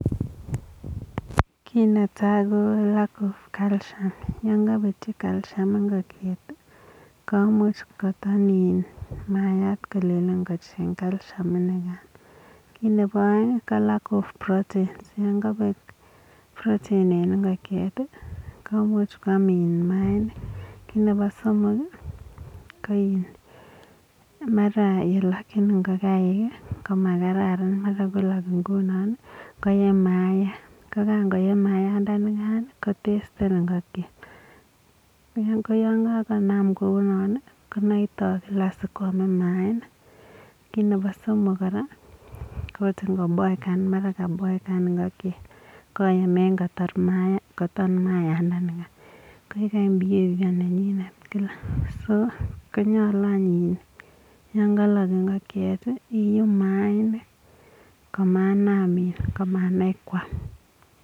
Kiit netai ko lack of calcium yakapetii calcium ingokiet komuch koton mayat kolen kocheng calcium kiit nepa aeng ko lack of proteins yakapek protein ing ingokiet komuch kwam maainik kiit nepa somok ko maraa olelachin ingokiet koma kararan mara kolach ngunoo koyee mayaat kokangoye maayat ko testen koyaa kenam kunaa konaitan kila siku kwamee maainik kiit nepa somok ngunaa akot ngo boekan mara kaboekan ingokiet koyume kotar maayat kaitak koyaa ngalak ingokiet koek behaviour nenyii kila so konyalu yakalak ingokiet iibu maainik komanem kwam